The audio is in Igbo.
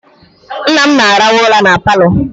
Nna m na-arahụ ụra na Palọ